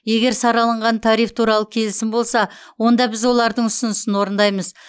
егер сараланған тариф туралы келісім болса онда біз олардың ұсынысын орындаймыз